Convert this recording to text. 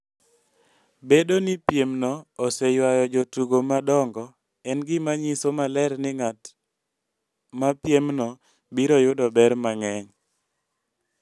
Bedo ni piemno oseywayo jotugo madongo, en gima nyiso maler ni ng'at ma piemno biro yudo ber mang'eny.